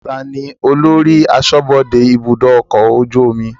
Taàní ólori aṣọ́bodè ibùdókọ̀ ọkọ̀ ojú omi?